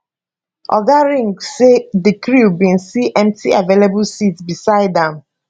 oga ring say di crew bin see empty available seats beside am